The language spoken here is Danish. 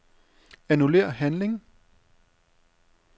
Annullér handling.